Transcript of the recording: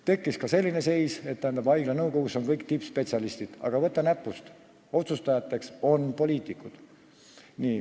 Tekkis ka selline seis, et haigla nõukogus on kõik tippspetsialistid, aga, võta näpust, otsustajateks on poliitikud.